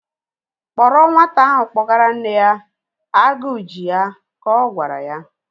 Kpọrọ nwata ahụ kpọgara nne ya! Agụ ji ya, ka ọ gwara ya